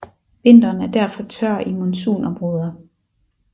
Vinteren er derfor tør i monsunområder